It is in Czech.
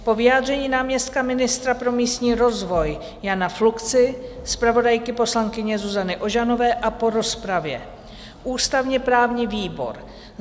"Po vyjádření náměstka ministra pro místní rozvoj Jana Fluxy, zpravodajky poslankyně Zuzany Ožanové a po rozpravě ústavně-právní výbor